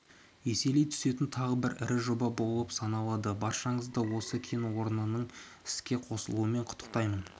еселей түсетін тағы бір ірі жоба болып саналады баршаңызды осы кен орнының іске қосылуымен құттықтаймын